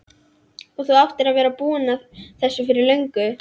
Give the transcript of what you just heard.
Og þú áttir að vera búinn að þessu fyrir löngu!